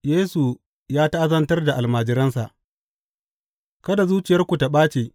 Yesu ya ta’azantar da almajiransa Kada zuciyarku ta ɓaci.